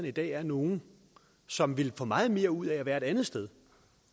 i dag er nogle som ville få meget mere ud af at være et andet sted